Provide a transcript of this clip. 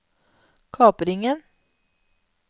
kapringen